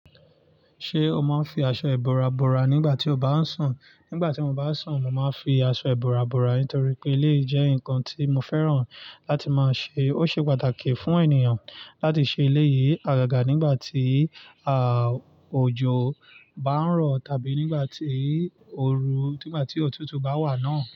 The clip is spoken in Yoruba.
Ṣé o máa ń fi aṣọ ìbora bora nígbà tí o bá ń sùn? Nígbà tí mo bá sùn, mo máa ń fi aṣọ ìbora bora nítorí pé iléyi jẹ́ nǹkan tí mo fẹ́ràn láti máa ṣe. Ó ṣe pàtàkì fún ènìyàn láti ṣe ilé yìí agaga nígbà tí, à, òjò bá ń rọ̀ tàbí nígbà tí oru, nígbà tí òtútù bá wà náà.